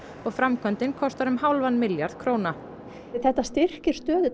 og framkvæmdin kostar um hálfan milljarð króna þetta styrkir stöðu